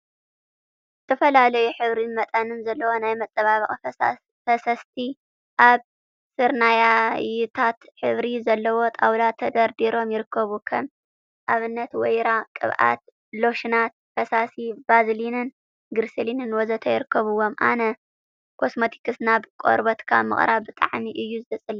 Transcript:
ዝተፈላልዩ ሕብሪን መጠንን ዘለዎም ናይ መጸባብቂ ፈሰስቲ ኣብ ስርናይታይ ሕብሪ ዘለዎ ጣውላ ተደርዲሮም ይርከቡ። ከም ኣብነት ወይራ ቅብኣት፣ ሎሽናት፣ ፈሳሲ ቫዝሊንን ግሪስሊንን ወዘት ይርከቡዎም። ኣነ ኮስሞቲክስ ናብ ቆርበትካ ምቅራብ ብጣዕሚ እየ ዝጸልእ።